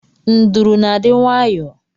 Nduru na-adị nwayọọ